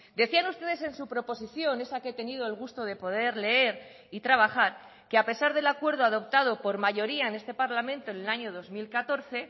decían ustedes en su proposición esa que tenido el gusto de poder leer y trabajar que a pesar del acuerdo adoptado por mayoría en este parlamento en el año dos mil catorce